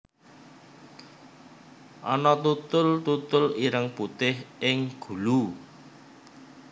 Ana tutul tutul ireng putih ing gulu